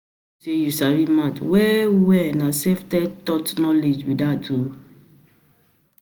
you sabi maths well well na taught knowledgebe that um